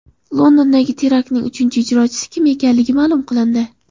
Londondagi teraktning uchinchi ijrochisi kim ekanligi ma’lum qilindi.